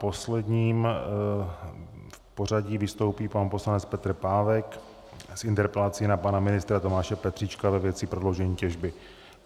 Poslední v pořadí vystoupí pan poslanec Petr Pávek s interpelací na pana ministra Tomáše Petříčka ve věci prodloužení těžby.